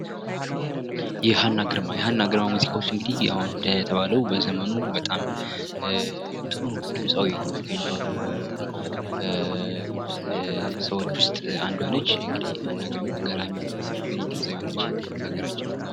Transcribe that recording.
ሀና ግርማ ሀና ግርማ ሙዚቃዎች እንግዲህ እንዴት የተባለው አሁን በዘመኑ በጣም ብዙ ድምፃዊ ከሚባሉ ሰዎች እንግዲህ አንዷ ናት ሀና ግርማ ገራሚ የሆነች ድምፃዊ ነች ለሀገራችን።